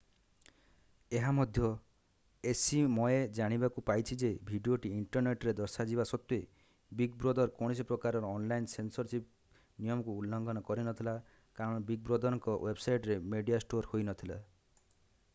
ଏହା ମଧ୍ୟ ଏସିମଏ ଜାଣିବାକୁ ପାଇଛି ଯେ ଭିଡିଓଟି ଇଣ୍ଟରନେଟରେ ଦର୍ଶାଯିବା ସତ୍ତ୍ଵେ ବିଗ ବ୍ରଦର କୌଣସି ପ୍ରକାରର ଅନଲାଇନ ସେନସରସିପ୍ ନିୟମକୁ ଉଲଂଘନ କରିନଥିଲା କାରଣ ବିଗ ବ୍ରଦରଙ୍କ ୱେବସାଇଟରେ ମେଡିଆ ଷ୍ଟୋର ହୋଇରହିନଥିଲା